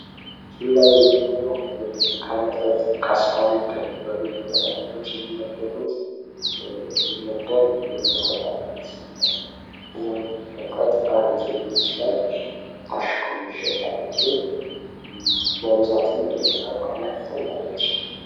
ምስሉ ላይ የምናዬው ከመጠጥ ካስካል ከሚባል የመጥጥ አይነቶች የሚመደብ የመጠጥ አይነት ነው። ይህም መጠጥ አረቂ ይመስላል ታሽጎ የሚሸጥ አረቂ በብዛትም ይታያል።